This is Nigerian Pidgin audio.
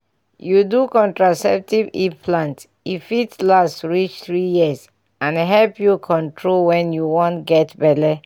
you do contraceptive implant e fit last reach three years and help you control when you wan get belle.